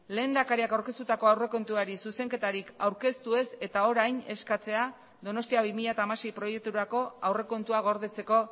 lehendakariak aurkeztutako aurrekontuari zuzenketarik aurkeztu ez eta orain eskatzea donostia bi mila hamasei proiekturako aurrekontua gordetzeko